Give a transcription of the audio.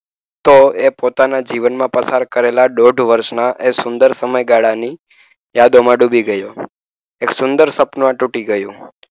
તો એ પોતાના જીવનમાં પસાર કરેલા દોઢ વર્ષના એ સુંદર સમયગાળાની યાદોમાં ડૂબી ગયો. એક સુંદર સપનું તૂટી ગયું.